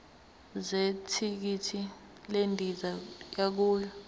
zethikithi lendiza yokuya